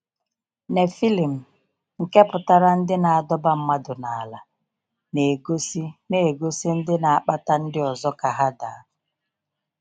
Nephilim, nke pụtara “ ndị na adọba mmadụ n’ala ,” na egosi na egosi ndị na akpata ndị ọzọ ka ha daa.